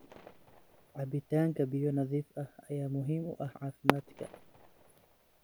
Cabitaanka biyo nadiif ah ayaa muhiim u ah caafimaadka.